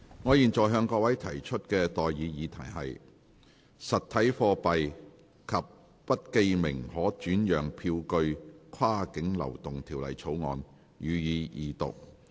我現在向各位提出的待議議題是：《實體貨幣及不記名可轉讓票據跨境流動條例草案》，予以二讀。